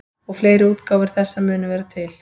Og fleiri útgáfur þessa munu vera til.